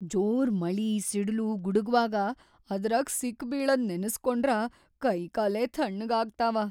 ಜೋರ್‌ ಮಳಿ ಸಿಡಲು ಗುಡಗ್‌ವಾಗ ಅದ್ರಾಗ್ ಸಿಕ್‌ಬೀಳದ್‌ ನೆನಸ್ಕೊಂಡ್ರ ಕೈಕಾಲೇ ಥಣ್ಣಗಾಗ್ತಾವ.